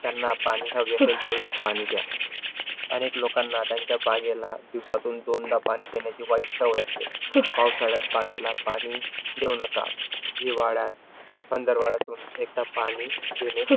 त्यांना पाणी हवे असेल तेवढेच पाणी दया. अनेक लोकांना त्यांच्या बागेला दिवसातून दोनदा पाणी देण्याची वाईट सवय असते. पावसाळ्यात बागेला पाणी देऊ नका. हिवाळ्यात पंधरवाळ्यातून एकदा पाणी देणे,